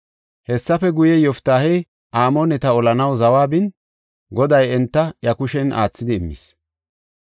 Hessafe guye, Yoftaahey Amooneta olanaw zawa bin, Goday enta iya kushen aathidi immis.